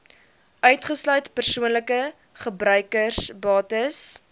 uitgesluit persoonlike gebruiksbates